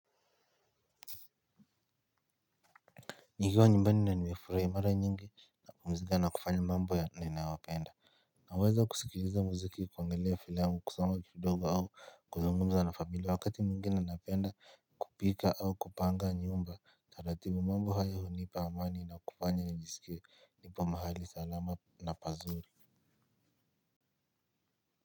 Nikiwa nyimbani na nimefurahia mara nyingi napumzika na kufanya mambo ya ninayoyapenda. Naweza kusikiliza muziki kuangalia filamu kusoma kidogo au kuzungumza na familia wakati mwingine napenda kupika au kupanga nyumba taratibu mambo hayo hunipa amani na kufanya na nijisikie nipo mahali salama na pazuri.